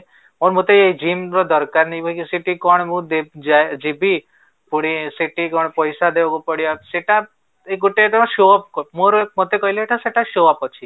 ଆଉ ମତେ ଜିମ ର ଦରକାର ନାହିଁ ବାକି ସେଠି କଣ ମୁଁ ଯିବି ପୁଣି ସେଠି କଣ ପଇସା ଦେବାକୁ ପଡିବ ସେଟା ଏଇ ଗୋଟେ show off ମୋର ମତେ କହିଲେ ଏଟା show off ଅଛି